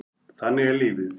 Þannig er lífið.